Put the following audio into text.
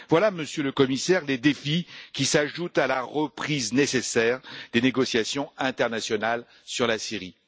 Voilà, Monsieur le commissaire, des défis qui s'ajoutent à la reprise nécessaire des négociations internationales sur la Syrie.